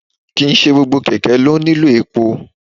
ki n se gbọ́gbọ́ kẹkẹ lo nílo epó